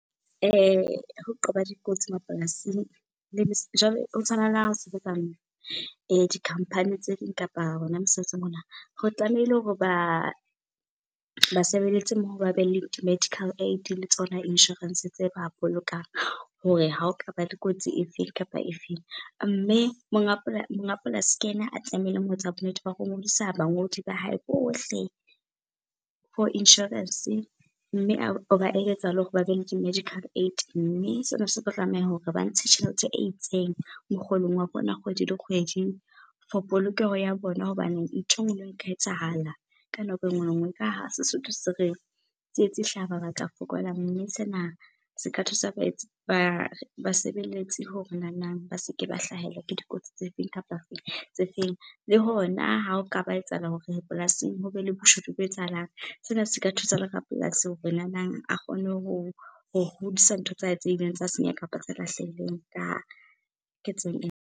Ho qoba dikotsi mapolasing ho tshwana le ha o sebetsa di-company tse ding kapa hona mesebetsi . Ho tlamehile hore basebeletsi mmoho ba be le di-Medical Aid le tsona inshorense tse ba bolokang hore ha o kaba le kotsi e feng kapa efeng. Mme monga polasi ke yena a tlamehileng ho etsa bonnete ba ho ngodisa bangodi ba hae bohle for inshorense, mme o ba eletsa le hore ba be le di-Medical Aid. Mme sena se tlo tlameha hore ba ntshe tjhelete e itseng mokgolong wa bona kgwedi le kgwedi for polokeho ya bona. Hobane ntho e nngwe le e nngwe e ka etsahala ka nako e nngwe le nngwe. Ka ha Sesotho se re, tsietsi e hlaha mabaka a fokola, mme sena se ka tlisa basebeletsi hore nanang ba seke ba hlahelwa ke dikotsi tse feng kapa tse feng tse feng. Le hona ha o ka ba etsahala hore polasing ho be le boshodu bo etsahalang, sena se ka thusa le rapolasi hore nanang a kgone hodisa ntho tsa hae tse ileng tsa senyeha kapa tse lahlehileng ka ketso ena.